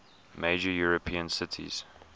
major european cities